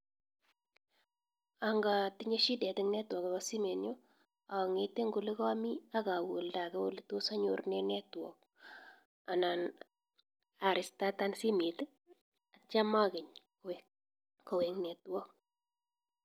Angatinye shidet en netwrok akopa simenyu ang'ete eng olekami akawe oldake netos anyor network anan arestatan simet atyam akeny kowek network.